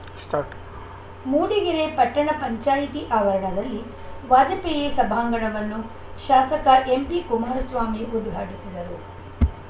start Mudigere ಪಟ್ಟಣ ಪಂಚಾಯಿತಿ ಆವರಣದಲ್ಲಿ ವಾಜಪೇಯಿ ಸಭಾಂಗಣವನ್ನು ಶಾಸಕ ಎಂಪಿ ಕುಮಾರಸ್ವಾಮಿ ಉದಘಾಟಿಸಿದರು